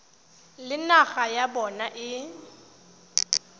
le naga ya bona e